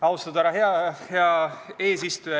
Austatud härra eesistuja!